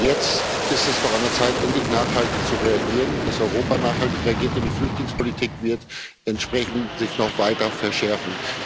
Jetzt ist es doch an der Zeit, endlich nachhaltig zu reagieren, dass Europa nachhaltig reagiert, denn die Flüchtlingspolitik wird sich entsprechend noch weiter verschärfen.